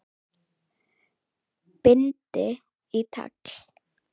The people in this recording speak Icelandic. Bind í tagl.